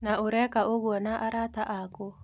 Na ũreka ũguo na arata akũ?